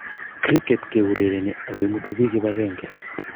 Kriket keurerenii ako imutuu biik kibakenge.